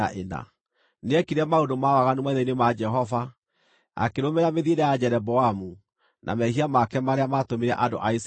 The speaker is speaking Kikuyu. Nĩekire maũndũ ma waganu maitho-ini ma Jehova, akĩrũmĩrĩra mĩthiĩre ya Jeroboamu, na mehia make marĩa maatũmire andũ a Isiraeli meehie.